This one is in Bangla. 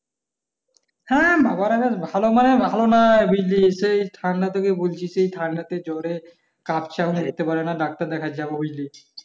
হ্যাঁ বাবারা বেশ ভালো মানে ভালো নাই বিজলি সেই ঠাণ্ডা থেকে বলছি সেই ঠাণ্ডা তে জ্বরে কাপছে এখনো যেতে পারে না ডাক্তার দেখাতে যাব ঐ গেছি